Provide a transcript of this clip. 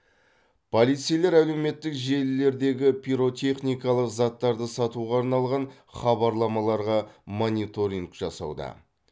полицейлер әлеуметтік желілердегі пиротехникалық заттарды сатуға арналған хабарламаларға мониторинг жасауда